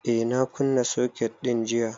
Eh, na kunna soket din jiya